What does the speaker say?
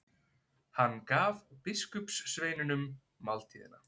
Hann gaf biskupssveinunum máltíðina.